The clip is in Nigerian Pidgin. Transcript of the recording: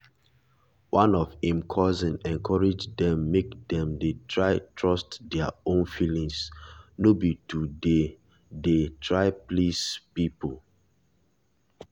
one of im cousin encourage dem make dem trust their own feeling no be to dey dey try please people.